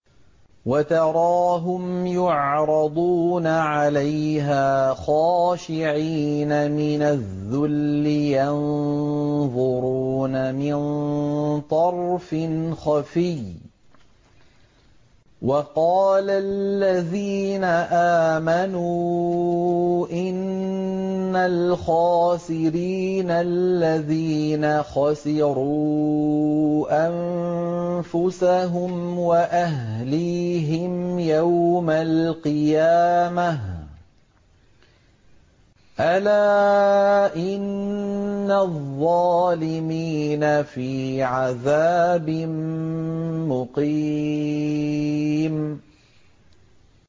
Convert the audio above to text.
وَتَرَاهُمْ يُعْرَضُونَ عَلَيْهَا خَاشِعِينَ مِنَ الذُّلِّ يَنظُرُونَ مِن طَرْفٍ خَفِيٍّ ۗ وَقَالَ الَّذِينَ آمَنُوا إِنَّ الْخَاسِرِينَ الَّذِينَ خَسِرُوا أَنفُسَهُمْ وَأَهْلِيهِمْ يَوْمَ الْقِيَامَةِ ۗ أَلَا إِنَّ الظَّالِمِينَ فِي عَذَابٍ مُّقِيمٍ